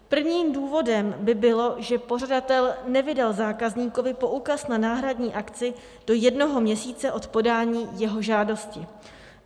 Prvním důvodem by bylo, že pořadatel nevydal zákazníkovi poukaz na náhradní akci do jednoho měsíce od podání jeho žádosti.